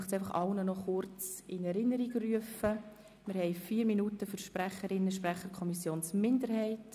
Wir haben vier Minuten für Sprecherinnen und Sprecher der Kommissionsminderheit.